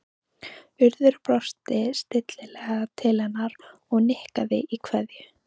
Urður brosti stillilega til hennar og nikkaði í kveðju